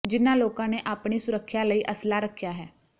ਜਿਨ੍ਹਾਂ ਲੋਕਾਂ ਨੇ ਆਪਣੀ ਸੁਰੱਖਿਆ ਲਈ ਅਸਲ੍ਹਾ ਰੱਖਿਆ ਹੈ